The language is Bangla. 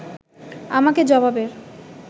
আমাকে জবাবের